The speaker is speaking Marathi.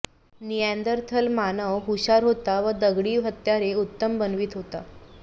निएन्दरथल मानव हुषार होता व दगडी हत्यारे उत्तम बनवीत होता